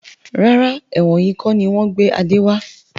Rárá, ẹ̀wọ̀n yìí kọni wọn gbé Adé wá.